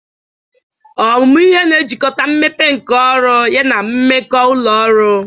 Ọmụmụ ihe na-ejikọta mmepe nka ọrụ yana mmekọ ụlọ ọrụ.